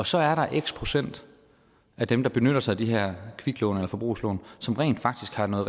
så er der x procent af dem der benytter sig af de her kviklån eller forbrugslån som rent faktisk har meget